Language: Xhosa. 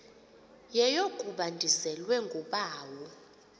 yeyokuba ndizelwe ngubawo